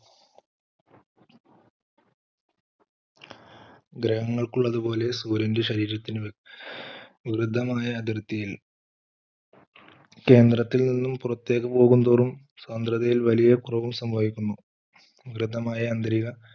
ഗ്രഹങ്ങൾക്കുള്ളത് പോലെ സൂര്യൻറെ ശരീരത്തിന് വൃദ്ധമായ അതിർത്തിയിൽ കേന്ദ്രത്തിൽ നിന്നും പുറത്തേക്ക് പോകുന്തോറും സ്വതന്ത്രദയിൽ വലിയ കുറവ് സംഭവിക്കുന്നു വൃത്തമായ ആന്തരിക,